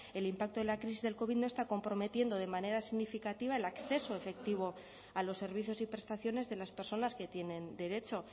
el impacto de la crisis del covid no está comprometiendo de manera significativa el acceso efectivo a los servicios y prestaciones de las personas que tienen derecho